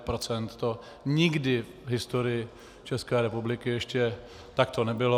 To nikdy v historii České republiky ještě takto nebylo.